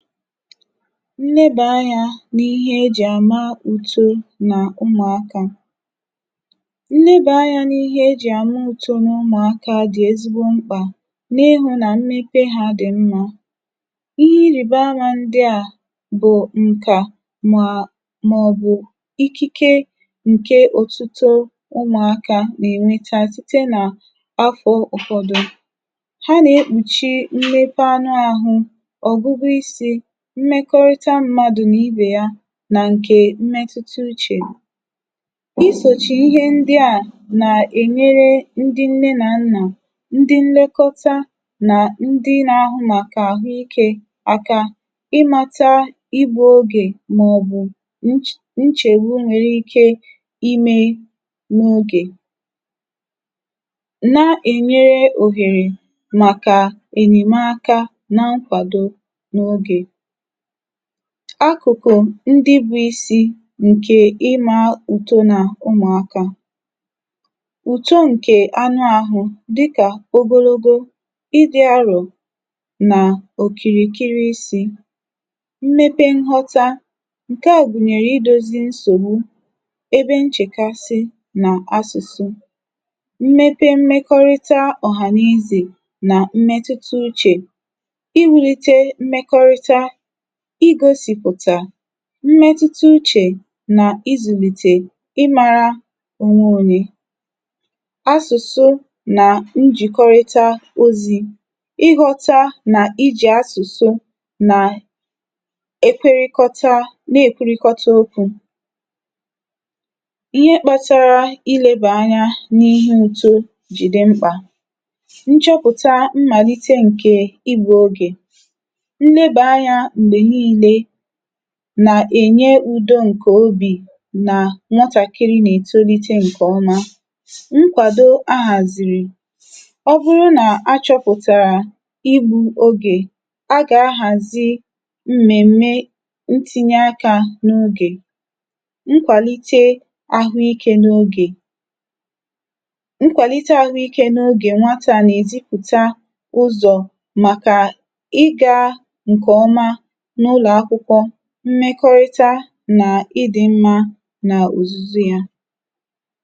NNEBÀ ANYĀ N’IHE E JÌ ÀMA ÙTO NÀ Ụmụ̀akā. NNEBÀ ANYĀ N’IHE E JÌ ÀMA ÙTO NÀ Ụmụ̀akā dị̀ ezigbo mkpà, n’ịhụ nà mmepe ha dị̀ mmā. ịhẹ irìbama ndịà bụ̀ ǹkà mà mà ọ̀ bụ̀ ikike nke òtuto ụmụ̀akā nà ènweta, site nà afụ̄ ụ̀fọdụ. ha nà ekpùchi mmepe anụ ahụ, ọ̀gwụgwọ isī, mmẹkọrịta mmadù nà ibè ya, nà ǹkè mmẹtụta uchè. isòchì ịhẹ ndịà nà ènyere ndị nnẹ nà nnà, ndị nnẹkọta nà ndị na ahụ màkà àhụ ikē aka, ịmata igbu ogè, mà ọ̀ bụ̀ nchègbu ike ịmẹ n’ogè, na ènyere ohèrè màkà ènyèmaka na nkwàdo n’ogè. akụ̀kụ̀ ndị bụ̄ isi ǹkè ịmā ùto nà ụmụ̀akā. ùto ǹkè anụ ahụ, dịkà ogologo, idī arò nà òkìrìkiri isī, mmepe nghọta, ǹkẹ à gùnyèrè idōzi nsògbu, ebe nchèkasị nà asụ̀sụ. mmepe mmekọrịta ọ̀hà nà ezè na mmẹtụta uchè. iwūlite mmẹkọrịta I gōsị̀pụ̀tà mmẹtụta uchè nà izụ̀lìtè ị mara onwe onye. asụ̀sụ nà njìkọrịta ozī, ị ghọta nà ijì asụ̀sụ nà ekwerịkọta nà èkwerịkọta okwū. ihe kpatara ilēbà anya n’ihe uto diị mkpà. nchọpụ̀tà mmàlite ǹkè igbū ogè. nlebà anyā m̀gbè nille nà ènye udo ǹkè obi, nà nwatàkiri nà ètonite ǹkẹ̀ ọma. nkwàdo ahàzìrì. ọ bụrụ nà a chọ̄pụ̀tàrà igbū ogè, a gà ahàzi m̀mèm̀me I tinye akā n’ogè. nkwàlite ahụ ikē n’ogè. nkwàlite ahụ ikē n’ogè nwatà nà ètipụ̀ta ụzọ̀ màkà ị gā ǹkẹ̀ ọma n’ụlọ̀ akwụkwọ mmẹkọrịta nà idī mm anà òzùzu yā.